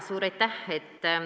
Suur aitäh!